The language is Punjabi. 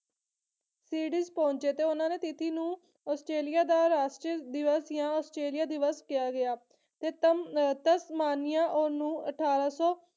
ਸੀਡੀਜ਼ ਪਹੁੰਚੇ ਤੇ ਉਹਨਾਂ ਨੇ ਤਿਥੀ ਨੂੰ ਆਸਟ੍ਰੇਲੀਆ ਦਾ ਰਾਸ਼ਟਰ ਦਿਵਸ ਜਾਂ ਆਸਟ੍ਰੇਲੀਆ ਦਿਵਸ ਕਿਹਾ ਗਿਆ ਤੇ ਸਤਮ ਅਹ ਮਾਨੀਆਂ ਨੂੰ ਅਠਾਰਾਂ ਸੌ